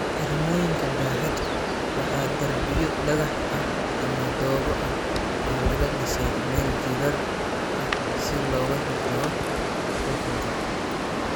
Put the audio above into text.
Xirmooyinka dahaadhku waa darbiyo dhagax ah ama dhoobo ah oo laga dhisay meel jiirar ah si looga hortago qulqulka.